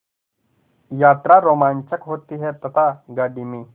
यात्रा रोमांचक होती है तथा गाड़ी में